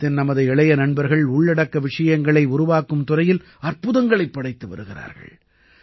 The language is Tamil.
பாரதத்தின் நமது இளைய நண்பர்கள் உள்ளடக்க விஷயங்களை உருவாக்கும் துறையில் அற்புதங்களைப் படைத்து வருகிறார்கள்